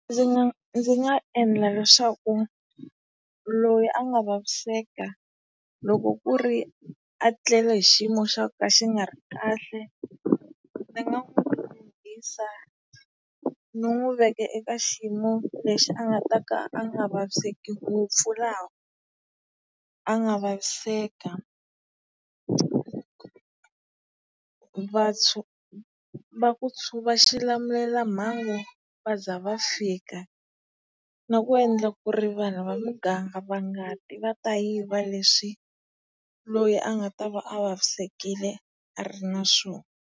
Ndzi ndzi nga endla leswaku loyi a nga vaviseka loko ku ri a tlele hi xiyimo xa ku ka xi nga ri kahle, ni nga ni n'wu veka eka xiyimo lexi a nga ta ka a nga vaviseki ngopfu laha a nga vaviseka. Vaxilamulelamhangu va za va fika. Na ku endla ku ri vanhu va muganga va nga ti va ta yiva leswi loyi a nga ta va a vavisekile a ri na swona.